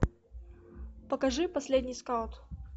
покажи последний скаут